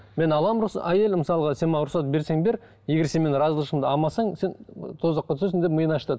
мен аламын әйел мысалға сен маған рұқсат берсең бер егер сен менің разышылығымды алмасаң сен тозаққа түсесің деп миын ашытады